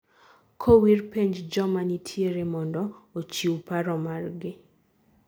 koriw penj joma nitiere mondo ochiw paro margi